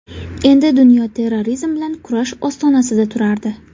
Endi dunyo terrorizm bilan kurash ostonasida turardi.